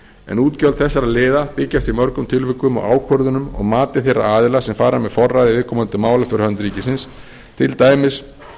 en útgjöld þessara liða byggjast í mörgum tilvikum á ákvörðunum og mati þeirra aðila sem fara með forræði viðkomandi mála fyrir hönd ríkisins til dæmis